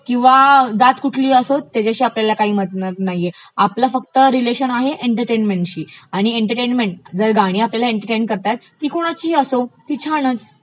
किंवा जात कुठलिही असो त्याच्याशी आपल्याला काहिही मतलब नाहीये. आपलं फक्त रिलेशन आहे फक्त एन्टर्टेंनमेंटशी आणि एंटर्टेन्मेट जर आपल्याला गाणी करतायत, तर ती कोणाचीही असोत, ती छानचं